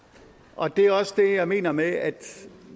og det er også det jeg mener med at